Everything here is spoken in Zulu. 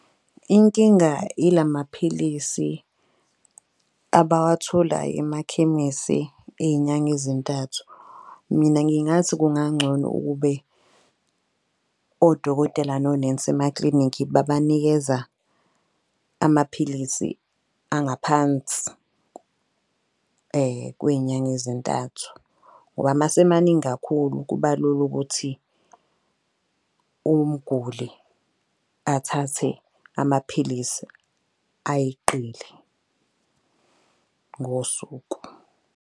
Inkinga ila maphilisi abawathola emakhemesi ey'nyanga ezintathu. Mina ngingathi kungangcono ukube odokotela nonensi emaklinikhi babanikeza amaphilisi angaphansi kwey'nyanga ezintathu. Ngoba mase emaningi kakhulu kuba lula ukuthi umguli athathe amaphilisi ayeqile ngosuku.